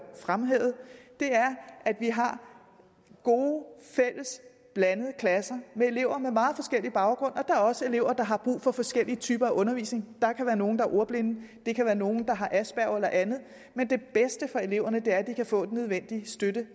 fremhævede er at vi har gode fælles og blandede klasser med elever med meget forskellig baggrund og der er også elever der har brug for forskellige typer af undervisning der kan være nogle der er ordblinde der kan være nogle der har asperger eller andet men det bedste for eleverne er at de kan få den nødvendige støtte